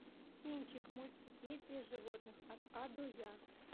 кинчик мультипедия животных от а до я